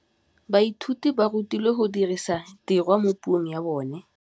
Baithuti ba rutilwe go dirisa tirwa mo puong ya bone.